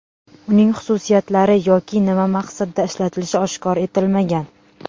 Uning xususiyatlari yoki nima maqsadda ishlatilishi oshkor etilmagan.